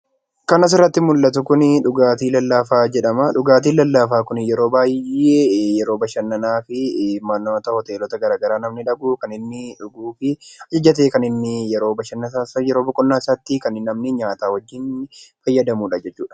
Kan asirratti mul'atu kun, dhugaatii lallaafaa jedhama. Dhugaatiin lallaafaa Kun yeroo baayyee yeroo bashannanaa fi mannoota hoteelota garaagaraa kan namni dhuguu fi kan adda ta'e yeroo bashannanaa isaatti kan namni fayyadamuudha jechuudha.